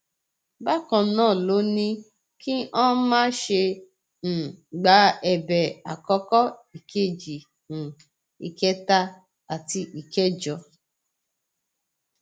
bákan náà ló ní kí ọn má ṣe um gba ẹbẹ àkọkọ ìkejì um ìkẹta àti ìkẹjọ